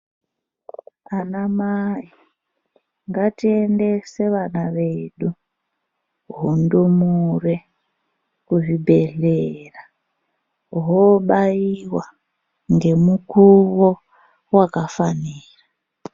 Ana mayi ,ngatiendese vana vedu, hundumure kuzvibhedlera hobayiwa nemukuwo wakafanira.